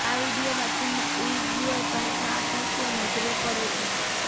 આ વીડિયોમાં ચીનના ઉઇગ્યૂર પ્રાંતના આતંકીઓ નજરે પડે છે